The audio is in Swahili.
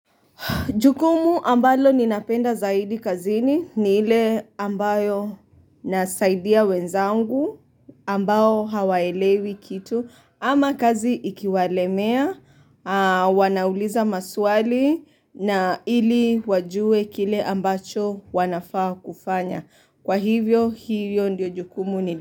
Jukumu ambalo ninapenda zaidi kazini ni ile ambayo nasaidia wenzangu ambao hawaelewi kitu. Ama kazi ikiwalemea, wanauliza maswali na ili wajue kile ambacho wanafaa kufanya. Kwa hivyo hiyo ndiyo jukumu ni.